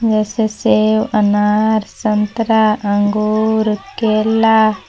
जैसे सेव अनार संतरा अंगूर केला--